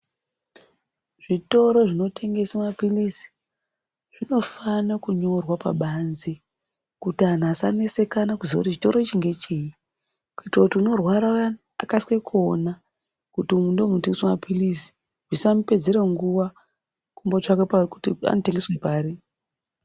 Zvitoro zvinotengese mapilizi zvinofane kunyorwa pabanzi kuti anhu asanetsekana kuti chitoro ichi ngecheyi, kuitire kuti unorwara uyani akasike kuona kuti umwu ndimwo munotengeswe mapilizi zvisamupedzere nguwa kumbotsvaka kuti anotengeswa pari.